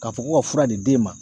K'a fɔ ko ka fura di den ma.